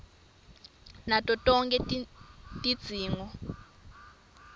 nato tonkhe tidzingo